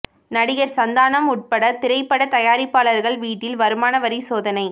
நடிகர் சந்தானம் உட்பட திரைப்பட தயாரிப்பாளர்கள் வீட்டில் வருமான வரி சோதனை